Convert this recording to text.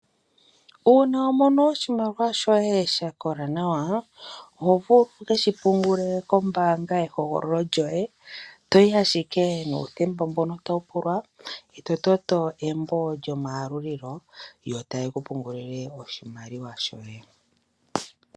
Uuna wa mono oshimaliwa shoye sha kola nawa, oho vulu wu keshi pungule kombaanga yehogololo lyoye, toyi ashike nuuthemba mbono tawu pulwa e to toto embo lyomayalulilo, yo taye ku pungululile oshimaliwa shoye